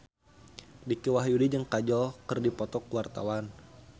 Dicky Wahyudi jeung Kajol keur dipoto ku wartawan